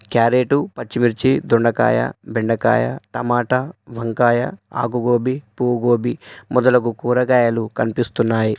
Carrot పచ్చిమిర్చి దొండకాయ బెండకాయ టమాటా వంకాయ ఆకు గోబీ పువ్వు గోబీ మొదలగు కూరగాయలు కనిపిస్తున్నాయి.